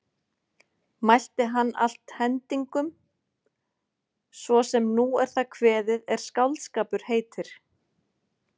Mælti hann allt hendingum svo sem nú er það kveðið er skáldskapur heitir.